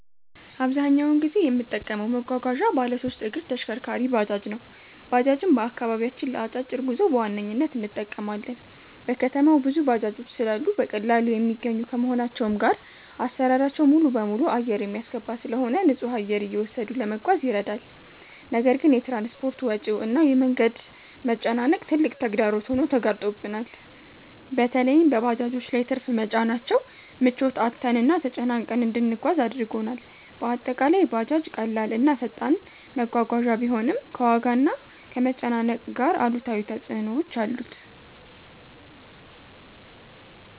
አብዛኛውን ጊዜ የምጠቀመው መጓጓዣ ባለሶስት እግር ተሽከርካሪ(ባጃጅ) ነው። ባጃጅን በአከባቢያችን ለ አጫጭር ጉዞ በዋነኝነት እንጠቀማለን። በከተማው ብዙ ባጃጆች ስላሉ በቀላሉ የሚገኙ ከመሆናቸውም ጋር አሰራራቸው ሙሉበሙሉ አየር የሚያስገባ ስለሆነ ንፁህ አየር እየወሰዱ ለመጓዝ ይረዳል። ነገር ግን የ ትራንስፖርት ወጪው እና የ መንገድ መጨናነቅ ትልቅ ተግዳሮት ሆኖ ተጋርጦብናል። በለይም በባጃጆች ላይ ትርፍ መጫናቸው ምቾት አጥተንና ተጨናንቀን እንድንጓጓዝ አድርጎናል። በአጠቃላይ ባጃጅ ቀላል እና ፈጣን መጓጓዣ ቢሆንም፣ ከዋጋና ከመጨናነቅ ጋር አሉታዊ ተፅዕኖዎች አሉት።